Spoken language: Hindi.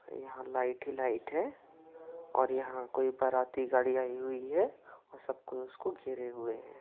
यहाँ लाइट ही लाइट है और यहाँ कोई बाराती गाड़ी आई हुई है वो सब को उसको घेरे हुए हैं।